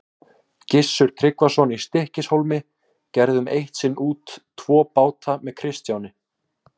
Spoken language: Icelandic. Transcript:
Gissur Tryggvason í Stykkishólmi gerðum eitt sinn út tvo báta með Kristjáni.